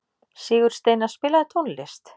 Sigursteina, spilaðu tónlist.